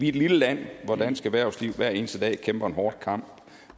et lille land hvor dansk erhvervsliv hver eneste dag kæmper en hård kamp